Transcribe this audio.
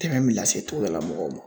lase tubabulmɔgɔw ma.